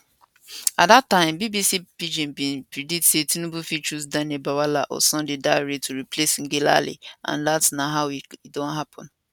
at dat time bbc pidginbin predictsay tinubu fit choose daniel bwala or sunday dare to replace ngelale and dat na how e don happen